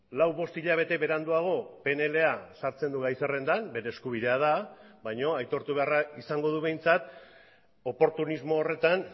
lau bost hilabete beranduago pnla sartzen du gai zerrendan bere eskubidea da baina aitortu beharra izango du behintzat oportunismo horretan